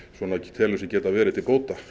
telur sér geta verið til bóta